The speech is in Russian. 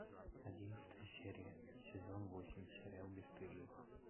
одиннадцатая серия сезон восемь сериал бесстыжие